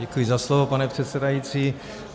Děkuji za slovo, pane předsedající.